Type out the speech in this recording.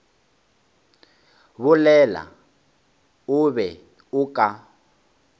bolela o be o ka